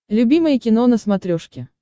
любимое кино на смотрешке